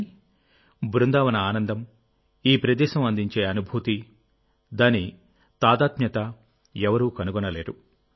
కానీ బృందావన ఆనందం ఈ ప్రదేశం అందించే అనుభూతి దాని తాదాత్మ్యత ఎవరూ కనుగొనలేరు